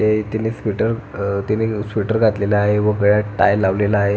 हे त्याने स्वेटर अह त्याने स्वेटर घातलेल आहे व गळ्यात टाय लावलेला आहे.